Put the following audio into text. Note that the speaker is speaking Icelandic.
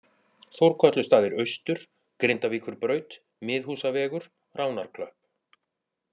Þórkötlustaðir Austur, Grindavíkurbraut, Miðhúsavegur, Ránarklöpp